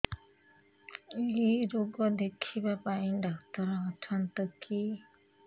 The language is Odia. ଏଇ ରୋଗ ଦେଖିବା ପାଇଁ ଡ଼ାକ୍ତର ଅଛନ୍ତି କି